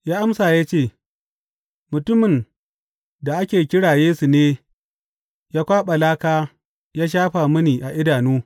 Ya amsa ya ce, Mutumin da ake kira Yesu ne ya kwaɓa laka ya shafa mini a idanu.